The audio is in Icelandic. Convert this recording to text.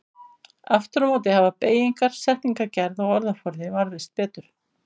Aftur á móti hafa beygingar, setningagerð og orðaforði varðveist betur.